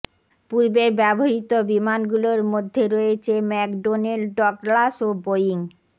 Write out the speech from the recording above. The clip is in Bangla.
পূর্বের ব্যবহৃত বিমানগুলোর মধ্যে রয়েছ ম্যাকডোনেল ডগলাস ও বোয়িং